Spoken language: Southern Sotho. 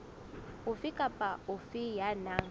ofe kapa ofe ya nang